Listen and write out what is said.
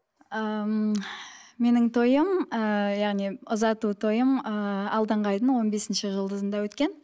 ыыы ммм менің тойым ыыы яғни ұзату тойым ыыы алдыңғы айдың он бесінші жұлдызында өткен